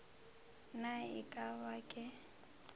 na e ka ba ke